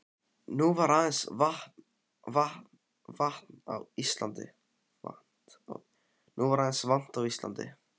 Nú var aðeins eins vant á Íslandi.